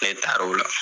Ne taar'o la